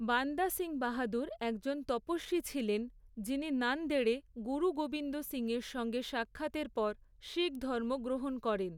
বান্দা সিং বাহাদুর একজন তপস্বী ছিলেন, যিনি নান্দেড়ে গুরু গোবিন্দ সিং এর সঙ্গে সাক্ষাতের পর শিখ ধর্ম গ্রহণ করেন।